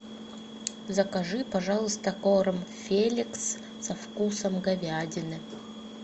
закажи пожалуйста корм феликс со вкусом говядины